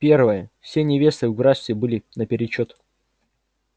первое все невесты в графстве были наперечёт